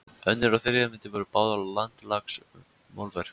Önnur og þriðja myndin voru báðar landslagsmálverk.